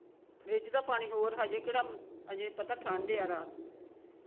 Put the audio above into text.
fridge ਦਾ ਪਾਣੀ ਹੋਰ ਹਜੇ ਕਿਹੜਾ ਹਜੇ ਪਤਾ ਠੰਡ ਆ ਰਾਤ ਨੂੰ